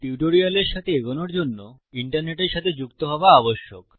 টিউটোরিয়ালের সাথে এগোনোর জন্য ইন্টারনেটের সাথে যুক্ত হওয়া আবশ্যক